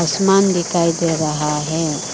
आसमान दिखाई दे रहा है।